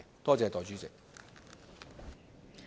多謝代理主席。